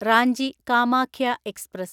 Ranchi Kamakhya express